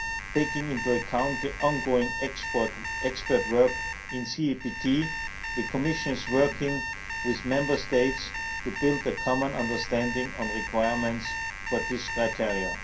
Taking into account the ongoing expert work in CEPT, the Commission is working with Member States to build a common understanding on requirements for this criterion.